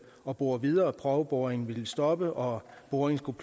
at bore videre prøveboringen ville stoppe og boringen skulle